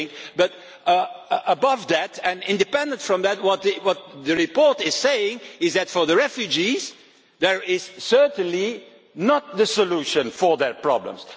But in addition to that and independently from that what the report is saying is that for the refugees this is certainly not the solution to their problems.